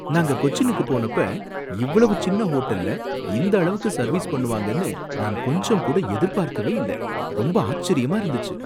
நாங்க கொச்சினுக்கு போனப்ப இவ்வளவு சின்ன ஹோட்டல்ல இந்த அளவுக்கு சர்வீஸ் பண்ணுவாங்கன்னு நான் கொஞ்சம் கூட எதிர்பார்க்கவே இல்ல! ரொம்ப ஆச்சரியமா இருந்துச்சு!